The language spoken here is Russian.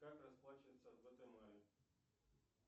как расплачиваться в гватемале